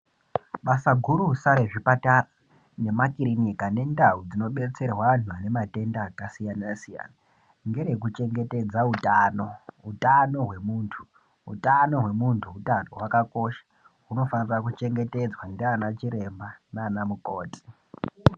Basa gurusa rezvipatara nemakiriniki nendau dzinobatsirwa antu ane matenda akasiyana siyana ngerekuchengetedza utano utano hwemuntu utano hwemuntu utano wakakosha unofana kuchengetedzwa ndana Chiremba nanamukoti.